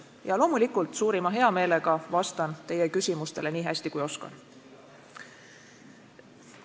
Ja loomulikult suurima hea meelega vastan teie küsimustele nii hästi, kui oskan.